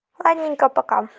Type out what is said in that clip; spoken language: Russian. ладненько пока